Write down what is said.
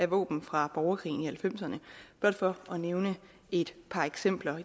våben fra borgerkrigen i nitten halvfemserne blot for at nævne et par eksempler